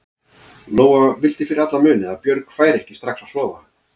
Lóa vildi fyrir alla muni að Björg færi ekki strax að sofa.